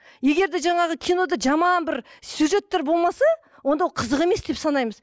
егер де жаңағы кинода жаман бір сюжеттер болмаса онда ол қызық емес деп санаймыз